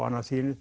annað